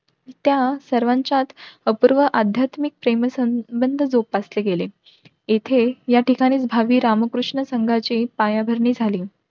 त्या सर्वांच्यात अपूर्व अध्यात्मिक प्रेम संबंध जोपासले गेले. येथे या ठिकाणीच भावी रामकृष्ण संघाची पायाभरणी झाली.